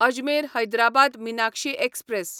Ajmer Hyderabad Meenakshi express